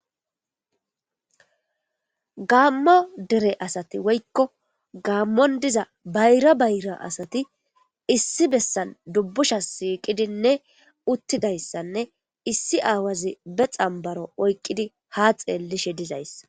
Gaammo dere asati woykko gaammon diza bayra bayra asati issi bessan dubbusha siiqidinne uttidayssanne issi aawazi be xambaro oykqidi ha xeellishe dizayssa.